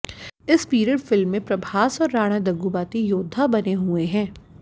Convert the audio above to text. इस period film में प्रभास और राणा दग्गुबाती योद्धा बने हुए हैं